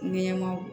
Ɲɛmaw